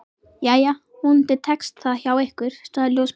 Jæja, vonandi tekst það hjá ykkur sagði ljósmóðirin.